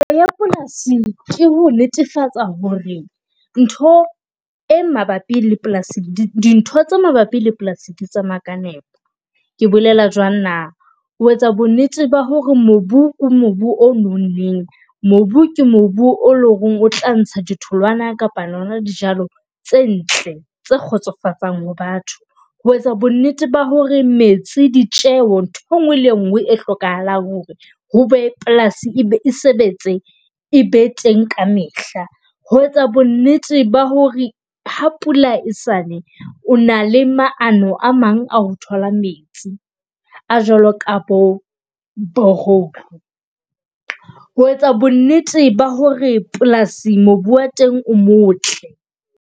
ya polasi ke ho netefatsa hore ntho e mabapi le polasing dintho tse mabapi le polasing di tsamaya ka nepo. Ke bolela jwang na? O etsa bo nnete ba hore mobu ke mobu o nonneng. mobu ke mobu o leng hore o tla ntsha di tholwana kapa tsona dijalo tse ntle tse kgotsofatsang ho batho. Ho etsa bo nnete ba hore metsi ditjeho ntho engwe le nngwe e hlokahalang hore hobe polasi e sebetse e be teng ka mehla. Ho etsa bo nnete ba hore ha pula esane, o na le maano a mang a ho thola metsi, a jwalo ka bo borehole. Ho etsa bo nnete ba hore polasi mobu wa teng o motle.